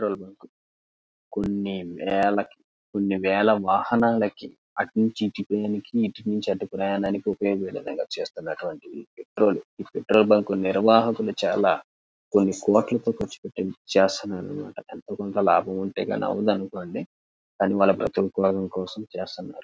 Petrol bunk కొన్ని వేలకి కొన్ని వేల వాహనాలకి అటు నుంచి ఇటు ప్రయాణానికి ఇటునుంచి అటు ప్రయాణానికి ఉపయోగించే విధంగా చేస్తున్నారు ఈ పెట్రోల్ ఈ పెట్రోల్ బంక్ నీ నిర్వాహకులు చాల కొన్ని కోట్ల తో కర్చు పెట్టి చేస్తున్నారు ఎంతో కొంత లాభం ఉంటే కానీ అవదనుకోండి వాళ్ళ బ్రతుకు తెరువు కోసం చేస్తున్నారు.